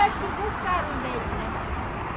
Acho que gostaram dele, né?